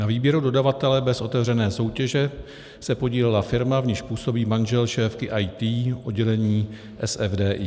Na výběru dodavatele bez otevřené soutěže se podílela firma, v níž působí manžel šéfky IT oddělení SFDI.